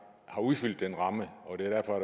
har udfyldt den ramme og derfor er